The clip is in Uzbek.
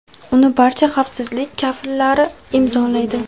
uni barcha xavfsizlik kafillari imzolaydi.